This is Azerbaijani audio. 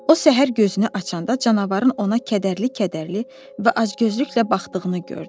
O səhər gözünü açanda canavarın ona kədərli-kədərli və acgözlüklə baxdığını gördü.